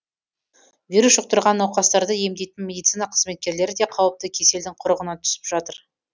вирус жұқтырған науқастарды емдейтін медицина қызметкерлері де қауіпті кеселдің құрығына түсіп жатыр